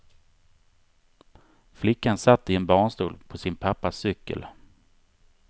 Flickan satt i en barnstol på sin pappas cykel.